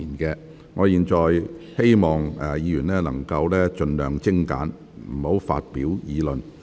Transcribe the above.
議員提問時請盡量精簡，不要發表議論。